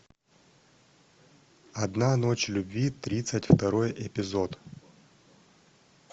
одна ночь любви тридцать второй эпизод